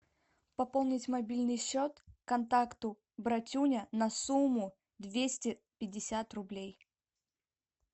пополнить мобильный счет контакту братюня на сумму двести пятьдесят рублей